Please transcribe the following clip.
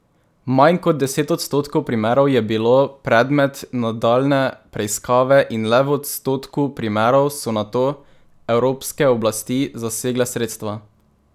Manj kot deset odstotkov primerov je bilo predmet nadaljnje preiskave in le v odstotku primerov so nato evropske oblasti zasegle sredstva.